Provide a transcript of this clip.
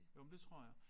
Jo men det tror jeg